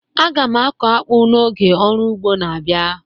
A ga m akọ akpu n'oge ọrụ ugbo na-abịa